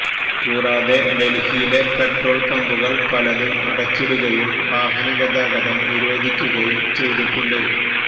കൂടാതെ ഡല്ഹിയിലെ പെട്രോള് പമ്പുകള് പലതും അടച്ചിടുകയും വാഹനഗതാഗതം നിരോധിക്കുകയും ചെയ്തിട്ടുണ്ട്